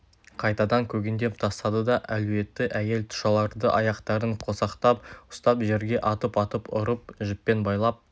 қайтадан көгендеп тастады да әлуетті әйел тұшаларды аяқтарын қосақтап ұстап жерге атып-атып ұрып жіппен байлап